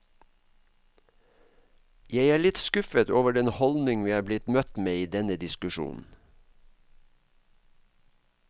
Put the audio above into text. Jeg er litt skuffet over den holdning vi er blitt møtt med i denne diskusjonen.